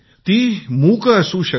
ती अबोल सुद्धा असू शकते